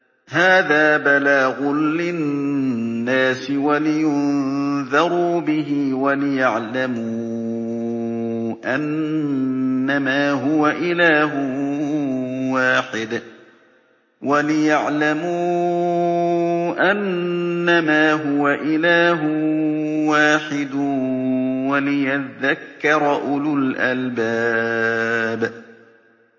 هَٰذَا بَلَاغٌ لِّلنَّاسِ وَلِيُنذَرُوا بِهِ وَلِيَعْلَمُوا أَنَّمَا هُوَ إِلَٰهٌ وَاحِدٌ وَلِيَذَّكَّرَ أُولُو الْأَلْبَابِ